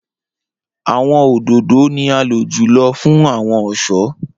Awọn ododo ni a lo julọ fun awọn ọṣọ.